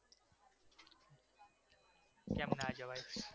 કેમ ના જવાય?